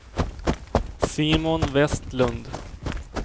Simon Westlund